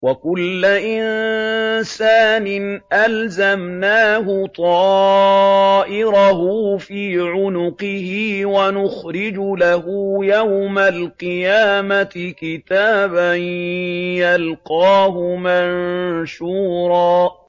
وَكُلَّ إِنسَانٍ أَلْزَمْنَاهُ طَائِرَهُ فِي عُنُقِهِ ۖ وَنُخْرِجُ لَهُ يَوْمَ الْقِيَامَةِ كِتَابًا يَلْقَاهُ مَنشُورًا